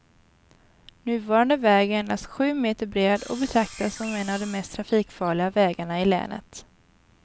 Nuvarande väg är endast sju meter bred och betraktas som en av de mest trafikfarliga vägarna i länet.